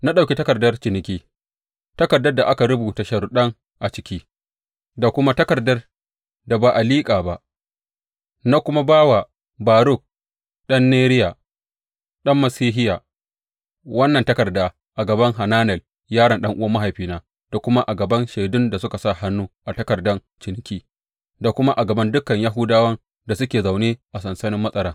Na ɗauki takardar ciniki, takardar da aka rubuta sharuɗan a ciki, da kuma takardar da ba a liƙe ba, na kuma ba wa Baruk ɗan Neriya, ɗan Masehiya, wannan takarda a gaban Hananel yaron ɗan’uwan mahaifina da kuma a gaban shaidun da suka sa hannu a takardan ciniki da kuma a gaban dukan Yahudawan da suke zaune a sansanin matsaran.